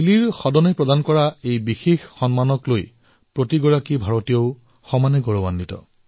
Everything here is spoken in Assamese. চিলিৰ সংসদৰ দ্বাৰা এয়া এক বিশেষ সন্মান যাক লৈ ভাৰতীয়সকলে গৌৰৱ কৰিব পাৰে